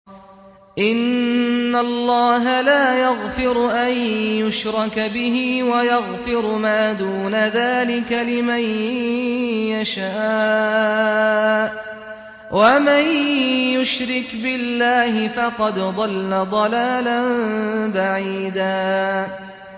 إِنَّ اللَّهَ لَا يَغْفِرُ أَن يُشْرَكَ بِهِ وَيَغْفِرُ مَا دُونَ ذَٰلِكَ لِمَن يَشَاءُ ۚ وَمَن يُشْرِكْ بِاللَّهِ فَقَدْ ضَلَّ ضَلَالًا بَعِيدًا